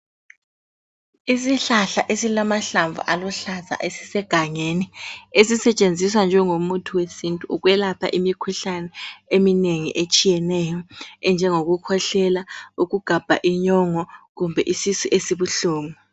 Isihlahla esilamahlamvu aluhlaza esisegangeni, esisetshenziswa njengomuthi wesintu ukwelapha imikhuhlane eminengi etshiyeneyo enjengokukhwehlela, ukugabha inyongo kumbe isisu esibuhlungu.